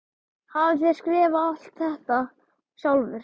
Hafið þér skrifað alt þetta sjálfur?